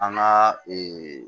An ka